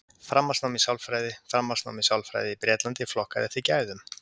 Framhaldsnám í sálfræði Framhaldsnám í sálfræði í Bretlandi, flokkað eftir gæðum.